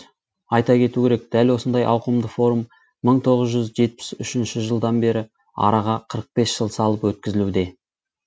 айта кету керек дәл осындай ауқымды форум мың тоғыз жүз жетпіс үшінші жылдан бері араға қырық бес жыл салып өткізілуде